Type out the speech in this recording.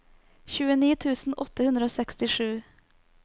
tjueni tusen åtte hundre og sekstisju